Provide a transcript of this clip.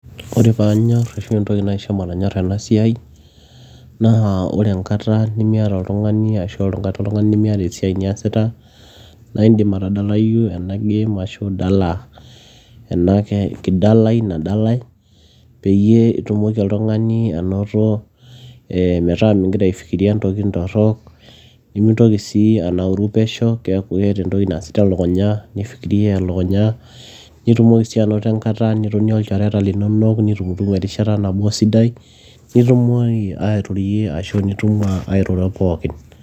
ore paanyorr ashua entoki naisho matonyorra ena siai naa ore enkata nemiata oltung'ani ashua enkata nemiata esiai niasita naa indim atadalayu ena game ashu idala enake kidalai nadalae peyie itumoki oltung'ani anoto eh, metaa mingira aifikiria intokitin torrok nimintoki sii anauru pesho kiaku keeta entoki naasita elukunya nifikiria elukunya nitumoki siianoto enkata nitonie olchoreta linonok nitumutumu erishata nabo sidai nitumoki airorie ashu nitum airoro pookin.